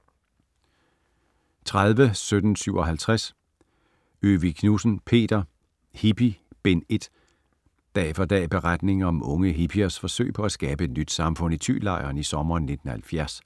30.1757 Øvig Knudsen, Peter: Hippie: Bind 1 Dag for dag beretning om unge hippiers forsøg med at skabe et nyt samfund i Thylejren i sommeren 1970.